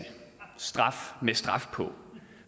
straf med straf på